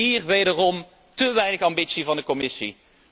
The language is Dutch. Ook hier wederom te weinig ambitie van de Commissie.